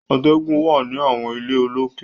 Àtẹ̀gùn wà ní àwọn ilé olókè.